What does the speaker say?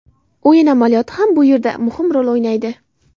O‘yin amaliyoti ham bu yerda muhim rol o‘ynaydi.